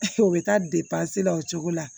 u bɛ taa la o cogo la